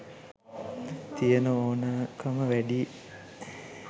තියෙන ඕනකම වැඩියි.